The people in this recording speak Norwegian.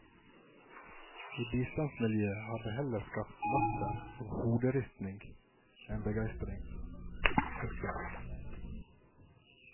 I bistandsmiljøet har det heller skapt latter og hoderisting enn begeistring. punktum